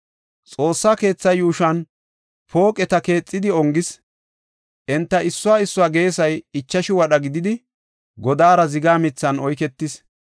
Xoossa keetha yuushuwan pooqeta keexidi ongis; enta issuwa issuwa geesay ichashu wadha gididi, godaara ziga mithan oyketis.